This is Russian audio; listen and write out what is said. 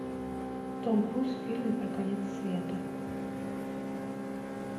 том круз в фильме про конец света